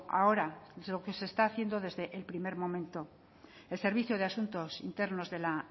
ahora es lo que se está haciendo desde el primer momento el servicio de asuntos internos de la